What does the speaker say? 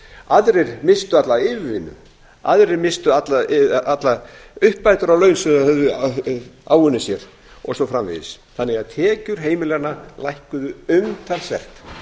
aðrir misstu alla yfirvinnu aðrir misstu allar uppbætur á laun sem þeir höfðu áunnið sér og svo framvegis þannig að tekjur heimilanna lækkuðu umtalsvert